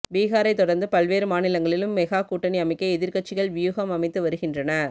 பீகாரைத் தொடர்ந்து பல்வேறு மாநிலங்களிலும் மெகா கூட்டணி அமைக்க எதிர்கட்சிகள் வியூகம் அமைத்து வருகின்றன